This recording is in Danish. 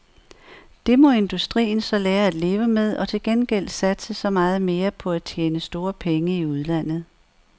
Det må industrien så lære at leve med og til gengæld satse så meget mere på at tjene store penge i udlandet.